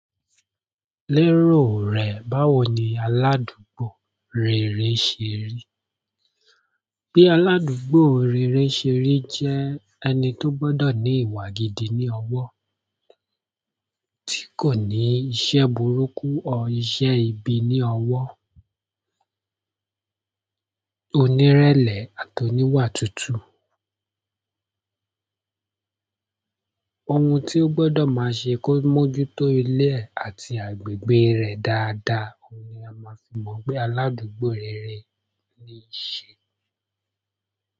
Lérò rẹ̀, báwo ni aládùúgbò rere ṣe rí? Bí aládùúgbò rere ṣe rí jẹ́ ẹni tó gbọdọ̀ ní ìwà gidi ní ọwọ́, tí kò ní iṣẹ́ burúkú o, iṣẹ́ ibi ní ọwọ́, onírẹ̀lẹ̀ àti oníwà tútù. Ohun ti o gbọdọ̀ máa ṣe kó mójútó ilé ẹ̀ àti agbègbè rẹ̀ dáadáa ni a máa fi mọ̀ pé aládùúgbò rere ni i ṣe.